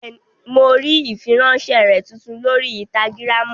Bẹ́ẹ̀ni, mo rí ìfiránsẹ́ rẹ tuntun lórí ínstágíráàmù